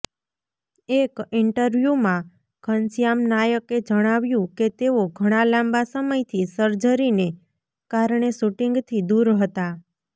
એક ઈન્ટરવ્યૂમાં ઘનશ્યામ નાયકે જણાવ્યું કે તેઓ ઘણા લાંબા સમયથી સર્જરીને કારણે શૂટિંગથી દૂર હતા